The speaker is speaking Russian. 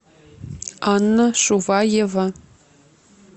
анна шуваева